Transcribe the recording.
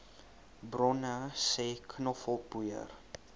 bronne sê knoffelpoeier